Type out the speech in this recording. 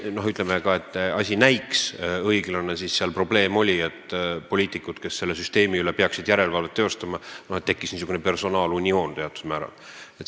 Probleem oli selles, et poliitikute puhul, kes pidanuks selle süsteemi üle järelevalvet teostama, tekkis teatud määral niisugune personaalunioon.